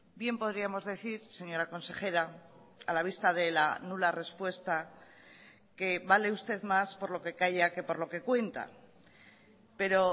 bien podríamos decir señora consejera a la vista de la nula respuesta que vale usted más por lo que calla que por lo que cuenta pero